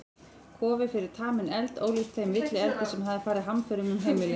Kofi fyrir taminn eld, ólíkan þeim villieldi sem hafði farið hamförum um heimilið.